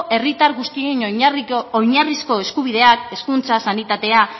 herritar guztiei oinarrizko eskubideak hezkuntza sanitatea